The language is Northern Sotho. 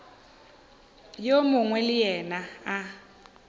yo mongwe le yena a